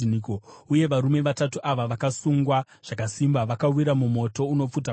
uye varume vatatu ava vakasungwa zvakasimba, vakawira mumoto unopfuta kwazvo.